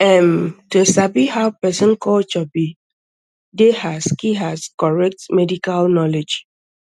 erm to sabi how person culture be dey as key as correct medical knowledge